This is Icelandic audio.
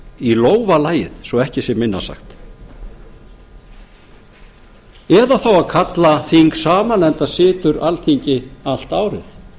í lófa lagið svo ekki sé minna sagt eða þá að kalla þing saman enda situr alþingi allt árið